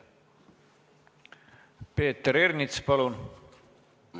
Peeter Ernits, palun!